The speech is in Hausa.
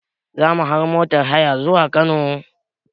Zamu hau motar haya zuwa Kano